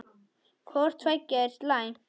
Hvort tveggja er slæmt.